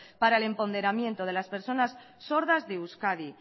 para el emponderamiento de las personas sordas de euskadi